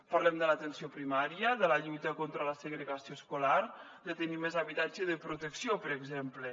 parlem de l’atenció primària de la lluita contra la segregació escolar de tenir més habitatge de protecció per exemple